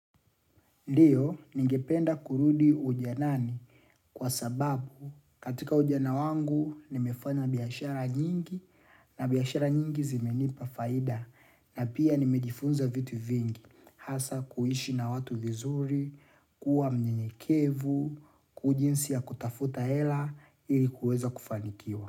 Ndiyo ningependa kurudi ujanani kwa sababu katika ujana wangu nimefanya biashara nyingi na biashara nyingi zimenipa faida na pia nimejifunza vitu vingi hasaa kuishi na watu vizuri, kuwa mnyenyekevu, jinsi ya kutafuta hela ili kuweza kufanikiwa.